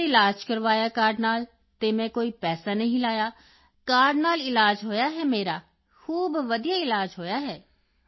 ਫਿਰ ਇਲਾਜ ਕਰਵਾਇਆ ਕਾਰਡ ਨਾਲ ਅਤੇ ਮੈਂ ਕੋਈ ਪੈਸਾ ਨਹੀਂ ਲਾਇਆ ਕਾਰਡ ਨਾਲ ਇਲਾਜ ਹੋਇਆ ਹੈ ਮੇਰਾ ਖੂਬ ਵਧੀਆ ਇਲਾਜ ਹੋਇਆ ਹੈ